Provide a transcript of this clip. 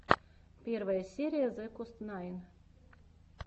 первая серия зекостнайн